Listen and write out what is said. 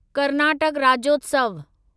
Karnataka Rajyotsav